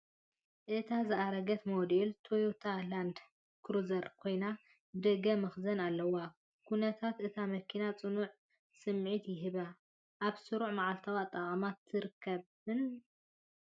እታ ዝኣረገት ሞዴል ቶዮታ ላንድ ክሩዘር ኮይና፡ ብደገ መኽዘን ኣለዋ። ኩነታት እታ መኪና ጽኑዕ ስምዒት ይህባን ኣብ ስሩዕ መዓልታዊ ኣጠቓቕማ ትርከብን።